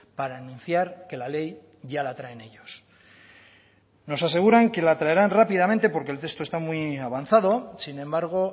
para anunciar que la ley ya la traen ellos nos aseguran que la traerán rápidamente porque el texto está muy avanzado sin embargo